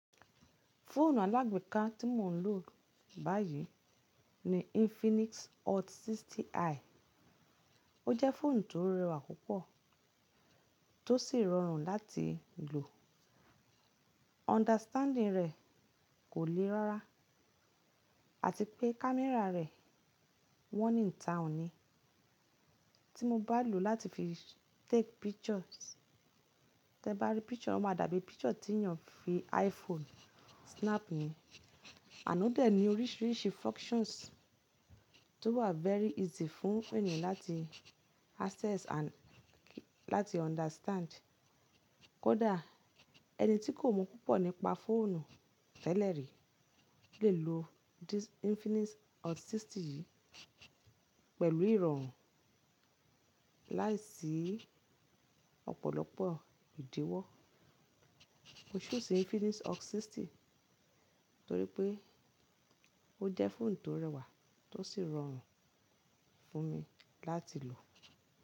Fóònù alágbe ká tí mò ń lò báyìí ni Infinix Hot 60i. Ó jẹ́ fóònù tó rẹwà púpọ̀ tó sì rọrùn láti lò. Understanding rẹ̀ kò le rárá àti pé camera rẹ̀ one in town ni. Tí mo bá lò ó láti fi take pictures, tí ẹ bá rí picture, ó máa dàbí picture tí ènìyàn fi iPhone snap ni. Àná dé ní oríṣiríṣi functions tó wà very easy fún ènìyàn láti access and láti understand. Kódà ẹni tí kò mọ̀ púpọ̀ nípa fóònù tẹ́lẹ̀ rí lè lo this Infinix Hot 60 yìí pẹ̀lú ìrọ̀rùn láìsí ọ̀pọ̀lọpọ̀ ìdíwọ́. Mo choose Infinix Hot 60 torí pé ó jẹ́ fóònù tó rẹwà tó sì rọrùn fún mi láti lò.